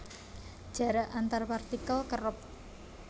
Jarak antar partikel kerep